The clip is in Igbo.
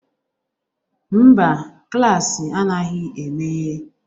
Mba, klaasị anaghị emeghe.